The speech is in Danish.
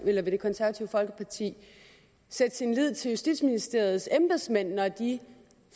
folkeparti sætte sin lid til justitsministeriets embedsmænd når de